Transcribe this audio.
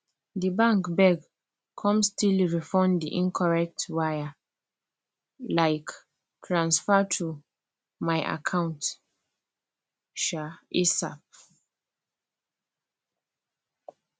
the bank beg come still refund the incorrect wire like transfer to my account um asap